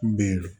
N bɛ